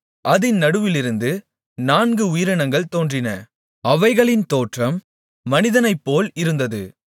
அதின் நடுவிலிருந்து நான்கு உயிரினங்கள் தோன்றின அவைகளின் தோற்றம் மனிதனைப்போல் இருந்தது